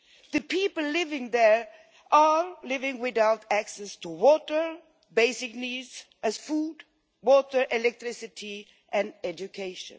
The people living there are living without access to such basic needs as food, water, electricity and education.